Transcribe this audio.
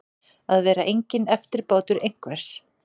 Að vera enginn eftirbátur einhvers